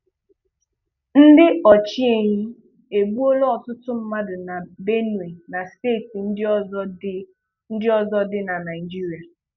Ndị ọchịehi egbuola ọtụtụ mmadụ na Benue na steeti ndị ọzọ dị ndị ọzọ dị na Naịjirịa